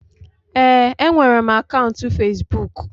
Ee, enwere m akaụntụ fesbụụk.